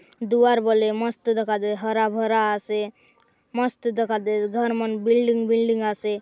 दुआर बले मस्त दखा दे हरा भरा आसे मस्त दखा दे घर मन बिल्डिंग बिल्डिंग आसे।